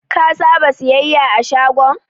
Ka saba siyayya a shagon?